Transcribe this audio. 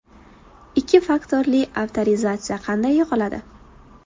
Ikki faktorli avtorizatsiya qanday yoqiladi?